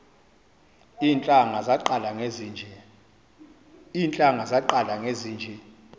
iintlanga zaqala ngezinje